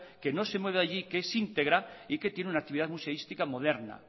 que no se mueve de allí que es íntegra y que tiene una actividad museística moderna